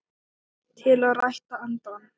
til að rækta andann